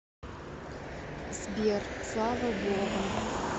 сбер слава богу